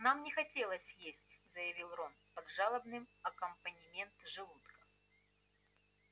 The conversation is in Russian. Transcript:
нам не хотелось есть заявил рон под жалобный аккомпанемент желудка